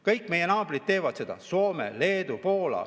Kõik meie naabrid teevad seda: Soome, Leedu, Poola.